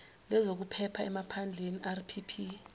lwezokuphepha emaphandleni rpp